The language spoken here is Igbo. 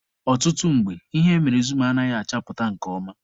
Ọtụtụ mgbe, ihe emere zum anaghị achapụta nke ọma.